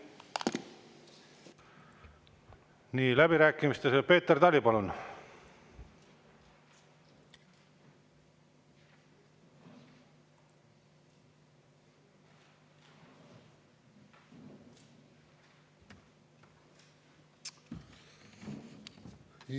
Nii, läbirääkimistes Peeter Tali.